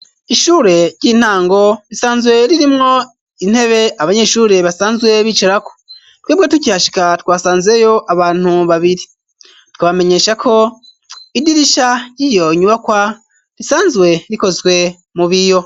Ishure ry'intango risanzwe ririmwo intebe abanyeshure basanzwe bicarako. Twebwe tukihashika twasanzeyo abantu babiri. Twobamenyesha ko idirisha ry'iyo nyubakwa risanzwe rikozwe mu biyo.